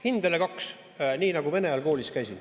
Hindele kaks, nii nagu Vene ajal koolis käisin.